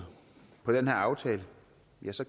jeg så